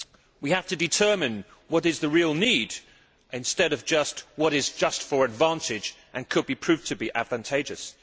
We have to determine what the real need is instead of what is just for advantage and could be proved to be advantageous.